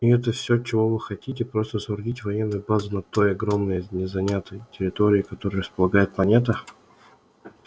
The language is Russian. и это все чего вы хотите просто соорудить военную базу на той огромной незанятой территории которой располагает планета